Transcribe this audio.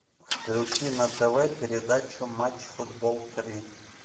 включи на тв передачу матч футбол три